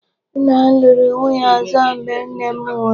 Nna m lụrụ nwunye ọzọ mgbe nne m nwụrụ.